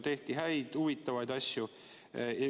Tehti häid ja huvitavaid asju.